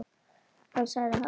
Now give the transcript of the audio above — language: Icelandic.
Ég sagði: Halló?